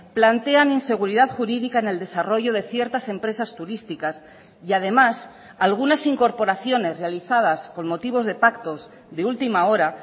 plantean inseguridad jurídica en el desarrollo de ciertas empresas turísticas y además algunas incorporaciones realizadas con motivos de pactos de última hora